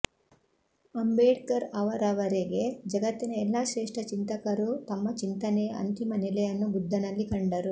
ಅಂಬೇಡ್ಕರ್ ಅವರವರೆಗೆ ಜಗತ್ತಿನ ಎಲ್ಲ ಶ್ರೇಷ್ಠ ಚಿಂತಕರೂ ತಮ್ಮ ಚಿಂತನೆಯ ಅಂತಿಮ ನೆಲೆಯನ್ನು ಬುದ್ಧನಲ್ಲಿ ಕಂಡರು